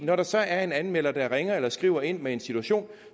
når der så er en anmelder der ringer eller skriver ind med en situation